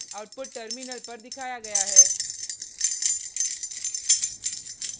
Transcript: output terminal पर दिखाया गया है